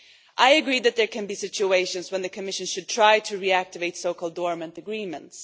I agree that there could be situations when the Commission should try to reactivate so-called dormant agreements.